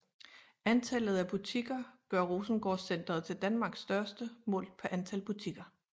Antallet af butikker gør Rosengårdcentret til Danmarks største målt på antal butikker